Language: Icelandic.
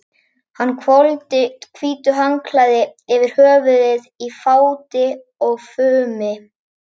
Hann hvolfdi hvítu handklæði yfir höfuðið í fáti og fumi.